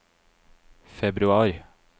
februar